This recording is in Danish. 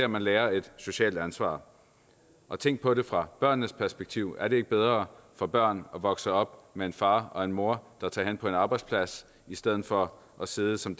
man lærer et socialt ansvar og tænk på det fra børnenes perspektiv er det ikke bedre for børn at vokse op med en far og en mor der tager hen på en arbejdsplads i stedet for at sidde som